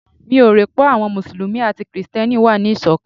Mi ò rò pé àwọn Mùsùlùmí àti Kristẹni wà ní Ìṣọ̀kan.